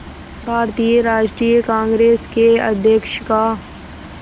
भारतीय राष्ट्रीय कांग्रेस के अध्यक्ष का